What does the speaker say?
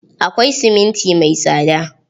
Akwai siminti mai tsada.